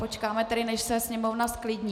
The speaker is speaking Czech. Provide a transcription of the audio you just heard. Počkáme tedy, než se Sněmovna zklidní.